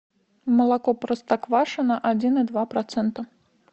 молоко простоквашино один и два процента